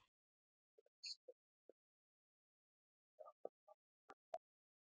Trausti, ferð þú með okkur á miðvikudaginn?